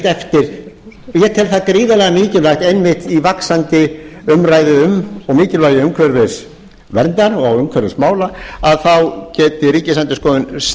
eftir ég tel það gríðarlega mikilvægt einmitt í vaxandi umræðu um mikilvægi umhverfisverndar og umhverfismála að þá geti ríkisendurskoðun